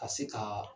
Ka se ka